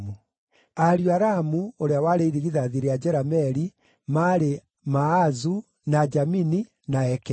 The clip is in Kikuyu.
Ariũ a Ramu, ũrĩa warĩ irigithathi rĩa Jerameeli, maarĩ: Maazu, na Jamini, na Ekeri.